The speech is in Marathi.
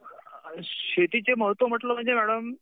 शेतीचे महत्व म्हटलं म्हणजे मॅडम